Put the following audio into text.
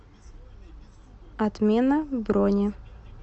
отмена брони